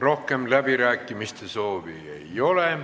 Rohkem läbirääkimiste soovi ei ole.